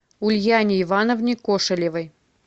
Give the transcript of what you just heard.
ульяне ивановне кошелевой